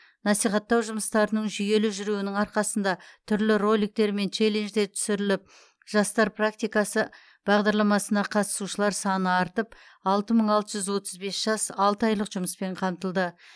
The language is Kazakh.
насихаттау жұмыстарының жүйелі жүруінің арқасында түрлі роликтер мен челленждер түсіріліп жастар практикасы бағдарламасына қатысушылар саны артып алты мың алты жүз отыз бес жас алты айлық жұмыспен қамтылды